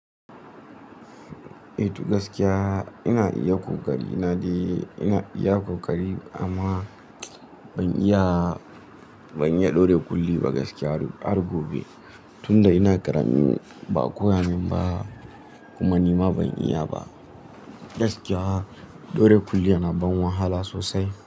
Eh, to gaskiya ina iya ƙoƙari na dai ina iya ƙoƙari amma ban iya, ban iya ɗora kulli ba gaskiya har gobe tunda ina ƙaramin baa koya min ba kuma nima ban iya ba. Gaskiya ɗora kulli yana ban wahala sosai.